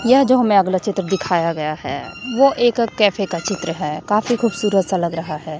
यह जो हमें अगला चित्र दिखाया गया है वो एक कैफे का चित्र है काफी खूबसूरत सा लग रहा है।